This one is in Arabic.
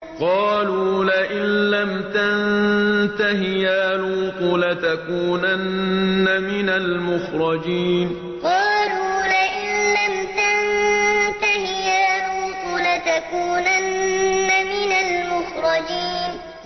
قَالُوا لَئِن لَّمْ تَنتَهِ يَا لُوطُ لَتَكُونَنَّ مِنَ الْمُخْرَجِينَ قَالُوا لَئِن لَّمْ تَنتَهِ يَا لُوطُ لَتَكُونَنَّ مِنَ الْمُخْرَجِينَ